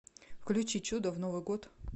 включи чудо в новый год